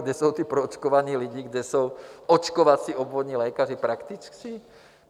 Kde jsou ti proočkovaní lidé, kde jsou očkovací obvodní lékaři, praktici?